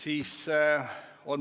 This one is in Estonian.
Ei ole.